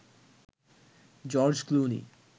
George Clooney